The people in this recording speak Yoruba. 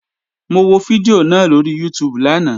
Mo wo fídíò náà lóri YouTube lánàá